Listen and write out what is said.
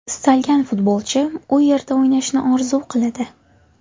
Istalgan futbolchi u yerda o‘ynashni orzu qiladi.